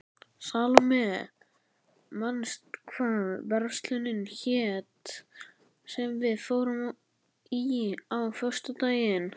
Salóme, manstu hvað verslunin hét sem við fórum í á föstudaginn?